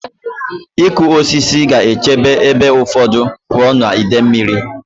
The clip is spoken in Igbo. Ịkụ osisi ga-echebe ebe ụfọdụ pụọ na ide mmiri.